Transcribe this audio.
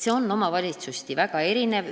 See on omavalitsuseti väga erinev.